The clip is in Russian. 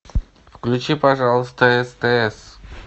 включи пожалуйста стс